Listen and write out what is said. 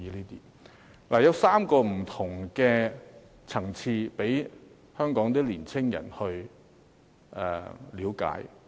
計劃有3個不同層次讓香港年青人去了解。